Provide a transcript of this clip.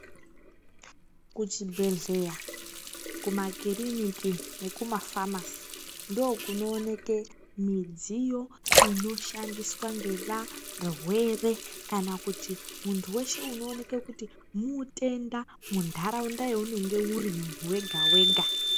Kuchibhehleya kunakiriniki nekumaphamasi ndiko kunoonekwa midziyo inoshandiswa nevarwere kana kuti muntu weshe unooneka kuti mutenda munharaunda yaunenge uri muntu wega wega.